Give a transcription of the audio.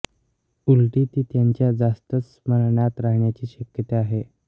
उलटी ती त्यांच्या जास्तच स्मरणात राहण्याची शक्यता आहे